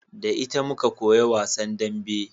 Da ita muka koya wasan dambe